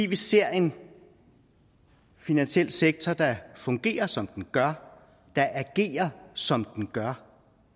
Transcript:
vi ser en finansiel sektor der fungerer som den gør der agerer som den gør